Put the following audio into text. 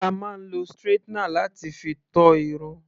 A máa ń lo straightener láti fi to Irun.